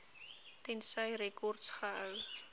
tensy rekords gehou